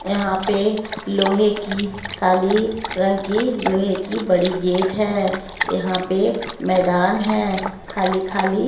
यहाँ पे लोहे की काली रंग की लोहे की बड़ी गेट है यहाँ पे मैदान है खाली खाली --